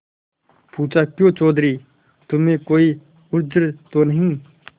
पूछाक्यों चौधरी तुम्हें कोई उज्र तो नहीं